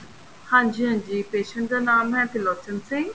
ਹਾਂਜੀ ਹਾਂਜੀ patient ਦਾ ਨਾਮ ਏ ਤਿਰਲੋਚਨ ਸਿੰਘ